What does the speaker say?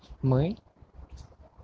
мы